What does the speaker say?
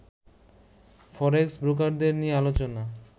ফরেক্স ব্রোকারদের নিয়ে আলোচনা